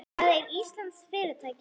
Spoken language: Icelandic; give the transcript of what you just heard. Það er íslenskt fyrirtæki.